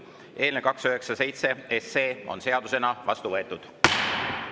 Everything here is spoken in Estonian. Eelnõu 297 on seadusena vastu võetud.